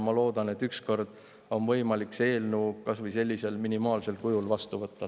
Ma loodan, et ükskord on võimalik see eelnõu kas või sellisel minimaalsel kujul vastu võtta.